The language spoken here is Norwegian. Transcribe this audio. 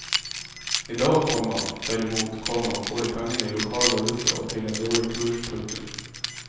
I dag, komma derimot, komma får de pengene i lokal valuta og til en dårlig kurs. punktum